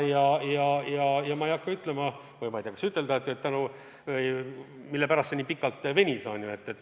Ma ei hakka siin ütlema või ma ei tea, kas siiski tuleks ütelda, mille pärast see pikalt venis.